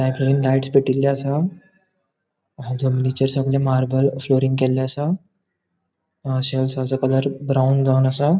लाइट्स पेटीले असा याच जमनीचेर सगळे मार्बल फ्लोरिंग केले असा कलर ब्राउन जावन असा.